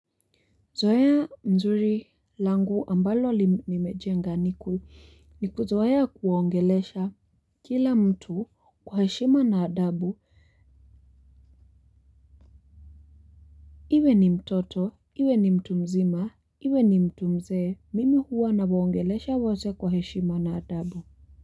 Zoea nzuri langu ambalo nimejenga ni kuzoea kuwaongelesha kila mtu kwa heshima na adabu iwe ni mtoto, iwe ni mtu mzima, iwe ni mtu mzee, mimi huwa nawaongelesha wote kwa heshima na adabu.